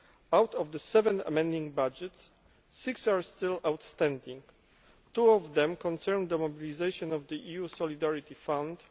Out of the seven amending budgets, six are still outstanding. Two of them concern the mobilisation of the EU Solidarity Fund.